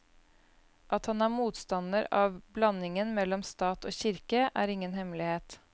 At han er motstander av blandingen mellom stat og kirke, er ingen hemmelighet.